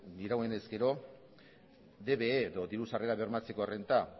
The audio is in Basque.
dirauenez gero dbe diru sarrerak bermatzeko renta